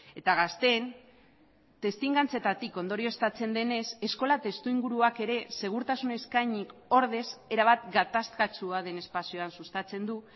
eta gazteen testigantzetatik ondorioztatzen denez eskola testuinguruak ere segurtasun eskainik ordez erabat gatazkatsua den espazioan sustatzen du